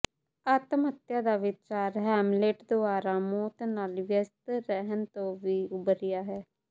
ਆਤਮ ਹੱਤਿਆ ਦਾ ਵਿਚਾਰ ਹੈਮਲੇਟ ਦੁਆਰਾ ਮੌਤ ਨਾਲ ਵਿਅਸਤ ਰਹਿਣ ਤੋਂ ਵੀ ਉਭਰਿਆ ਹੈ